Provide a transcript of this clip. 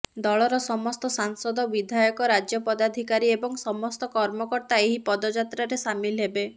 ଦଳର ସମସ୍ତ ସାଂସଦ ବିଧାୟକ ରାଜ୍ୟ ପଦାଧିକାରୀ ଏବଂ ସମସ୍ତ କର୍ମକର୍ତ୍ତା ଏହି ପଦଯାତ୍ରାରେ ସାମିଲ ହେବେ